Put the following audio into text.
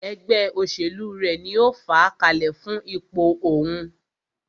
Ẹgbẹ́ òṣèlú rẹ̀ ní o fàá kalẹ̀ fún ipò òhún.